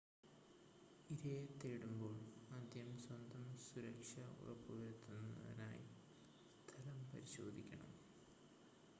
ഇരയെ തേടുമ്പോൾ ആദ്യം സ്വന്തം സുരക്ഷ ഉറപ്പുവരുത്തുവാനായി സ്ഥലം പരിശോധിക്കണം